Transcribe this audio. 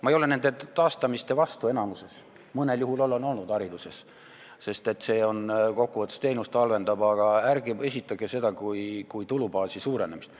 Ma ei ole enamiku nende taastamiste vastu – mõnel juhul olen olnud hariduses, sest see kokkuvõttes halvendab teenust –, aga ärge esitlege seda kui tulubaasi suurendamist.